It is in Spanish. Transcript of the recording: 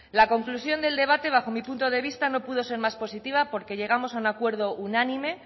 las conclusión del debate bajo mi punto de vista no pudo ser más positiva porque llegamos a un acuerdo unánime